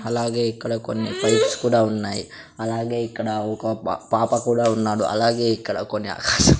అలాగే ఇక్కడ కొన్ని ఫైల్స్ కూడా ఉన్నాయి అలాగే ఇక్కడ ఒక పాప కూడా ఉన్నాడు అలాగే ఇక్కడ కొన్ని--